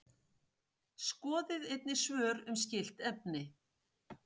Skoðið einnig svör um skylt efni: